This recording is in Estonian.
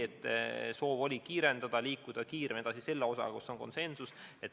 Meil tõesti on soov protsessi kiirendada ja liikuda kiiremini edasi selle osaga, mille puhul on konsensus.